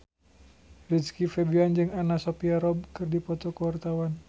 Rizky Febian jeung Anna Sophia Robb keur dipoto ku wartawan